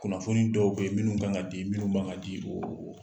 Kunnafoni dɔw be ye minnu ka ŋa di, minnu ma ŋa di oo o